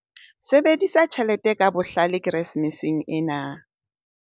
Sebedisa tjhelete ka bohlale Keresemeseng ena